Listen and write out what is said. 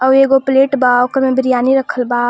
आ एगो प्लेट बा ओकरा में बिरयानी रखल बा.